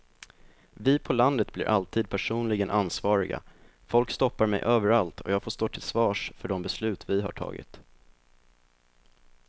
Vi på landet blir alltid personligen ansvariga, folk stoppar mig överallt och jag får stå till svars för de beslut vi har tagit.